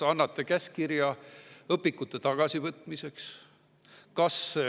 Kas annate käskkirja õpikute?